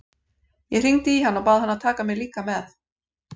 Ég hringdi í hann og bað hann að taka mig líka með.